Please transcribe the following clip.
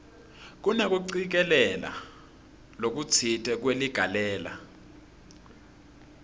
kunekucikelela lokutsite kweligalelo